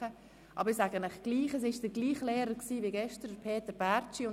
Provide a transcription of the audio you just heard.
Ich weise dennoch darauf hin, dass es derselbe Lehrer war wie gestern, nämlich Peter Bärtschi.